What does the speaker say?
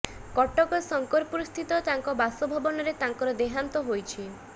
କଟକ ଶଙ୍କରପୁର ସ୍ଥିତ ତାଙ୍କ ବାସଭବନରେ ତାଙ୍କର ଦେହାନ୍ତ ହୋଇଛି